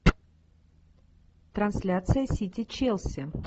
трансляция сити челси